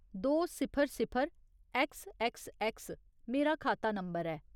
दो सिफर सिफर ऐक्स ऐक्स ऐक्स मेरा खाता नंबर ऐ।